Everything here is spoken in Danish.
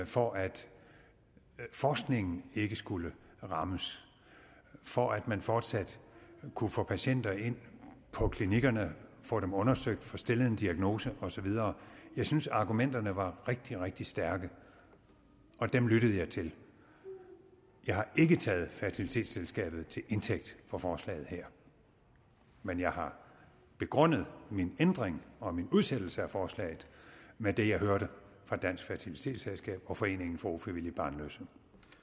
for at forskningen ikke skulle rammes for at man fortsat kunne få patienter ind på klinikkerne og få dem undersøgt og få stillet en diagnose og så videre jeg synes at argumenterne var rigtig rigtig stærke og dem lyttede jeg til jeg har ikke taget dansk fertilitetsselskab til indtægt for forslaget her men jeg har begrundet min ændring og min udsættelse af forslaget med det jeg hørte fra dansk fertilitetsselskab og foreningen for ufrivilligt barnløse